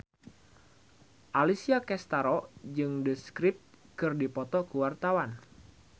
Alessia Cestaro jeung The Script keur dipoto ku wartawan